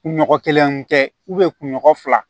Kunɲɔgɔn kelen tɛ kunɲɔgɔn fila